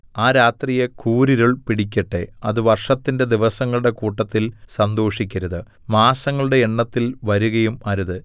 ആ രാത്രിയെ കൂരിരുൾ പിടിക്കട്ടെ അത് വർഷത്തിന്റെ ദിവസങ്ങളുടെ കൂട്ടത്തിൽ സന്തോഷിക്കരുത് മാസങ്ങളുടെ എണ്ണത്തിൽ വരുകയും അരുത്